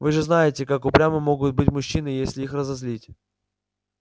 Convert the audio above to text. вы же знаете как упрямы могут быть мужчины если их разозлить